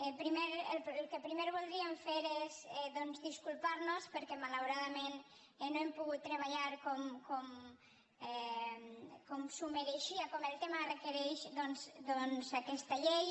el que primer voldríem fer és doncs disculpar nos perquè malauradament no hem pogut treballar com s’ho mereixia com el tema ho requereix aquesta llei